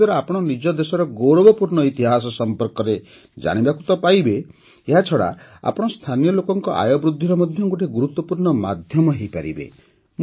ଏହାଦ୍ୱାରା ଆପଣ ନିଜ ଦେଶର ଗୌରବପୂର୍ଣ୍ଣ ଇତିହାସ ସମ୍ପର୍କରେ ତା ଜାଣିବାକୁ ପାଇବେ ଏହାଛଡ଼ା ଆପଣ ସ୍ଥାନୀୟ ଲୋକଙ୍କ ଆୟ ବୃଦ୍ଧିର ମଧ୍ୟ ଗୋଟିଏ ଗୁରୁତ୍ୱପୂର୍ଣ୍ଣ ମାଧ୍ୟମ ହୋଇପାରିବେ